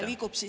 Aitäh!